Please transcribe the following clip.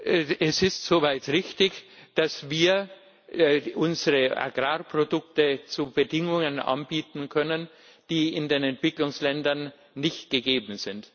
Es ist so weit richtig, dass wir unsere Agrarprodukte zu Bedingungen anbieten können, die in den Entwicklungsländern nicht gegeben sind.